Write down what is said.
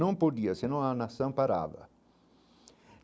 Não podia, senão a nação parava.